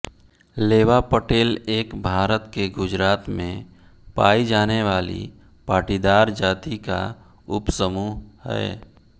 लेवा पटेल एक भारत के गुजरात मे पाई जाने वाली पाटीदार जाति का उपसमूह है